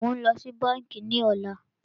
Mó ń lọ sí bánkì ní ọ̀lá.